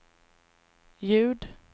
ljud